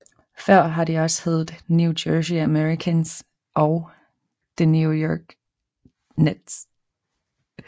Før det har det også heddet New Jersey Americans og New York Nets